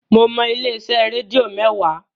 Mo mọ ilé-iṣẹ́ rédíò mẹ́wàá